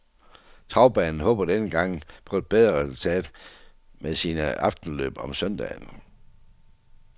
Travbanen håber denne gang på et bedre resultat med sine aftenløb om søndagen.